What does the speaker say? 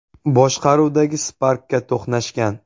boshqaruvidagi Spark’ga to‘qnashgan.